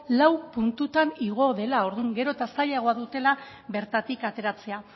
lau puntutan igo dela orduan gero eta zailagoa dutela bertatik ateratzea